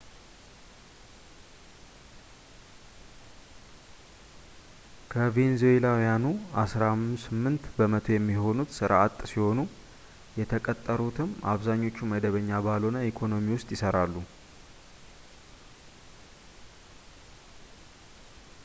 ከቬንዙዌላውያኑ አሥራ ስምንት በመቶ የሚሆኑት ሥራ አጥ ሲሆኑ የተቀጠሩትም አብዛኞቹ መደበኛ ባልሆነ ኢኮኖሚ ውስጥ ይሰራሉ